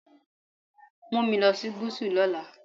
Take me to the South tomorrow.